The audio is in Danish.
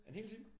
En hel time?